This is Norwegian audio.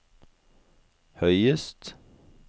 høyest